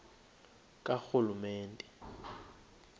karhulumente